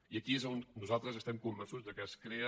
i aquí és on nosaltres estem convençuts que es crea